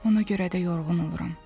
Ona görə də yorğun oluram.